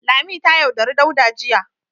Lami ta yaudari Dauda jiya.